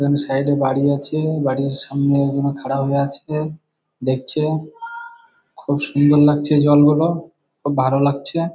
এখানে সাইড -এ বাড়ি আছে। বাড়ির সামনে ওগুলো খাড়া হয়ে আছে দেখছে। খুব সুন্দর লাগছে জল গুলো। খুব ভালো লাগছে।